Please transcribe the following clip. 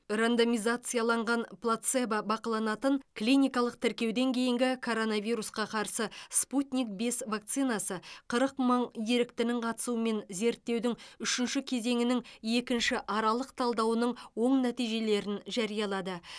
рандомизацияланған плацебо бақыланатын клиникалық тіркеуден кейінгі коронавирусқа қарсы спутник бес вакцинасы қырық мың еріктінің қатысуымен зерттеудің үшінші кезеңінің екінші аралық талдауының оң нәтижелерін жариялады